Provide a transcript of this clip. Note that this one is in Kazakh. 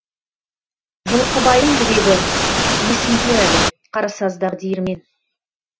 жылқыбайдың жүрегі есімде әлі қарасаздағы диірмен